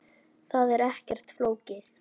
Það er ekkert flókið.